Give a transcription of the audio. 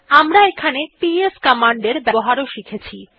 আমরা এখানে PS command er ব্যবহারও শিখেছি